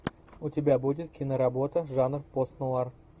у тебя будет киноработа жанр пост нуар